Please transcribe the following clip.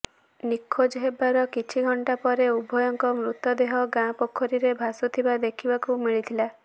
ନିଖୋଜ ହେବାର କିଛି ଘଣ୍ଟା ପରେ ଉଭୟଙ୍କ ମୃତଦେହ ଗାଁ ପୋଖରୀରେ ଭାସୁଥିବା ଦେଖିବାକୁ ମିଳିଥିଲା